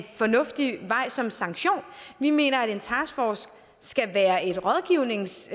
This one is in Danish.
fornuftig vej som sanktion vi mener at en taskforce skal være et rådgivnings